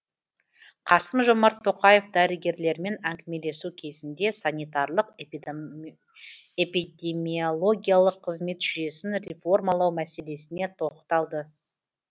қасым жомарт тоқаев дәрігерлермен әңгімелесу кезінде санитарлық эпидемиологиялық қызмет жүйесін реформалау мәселесіне тоқталды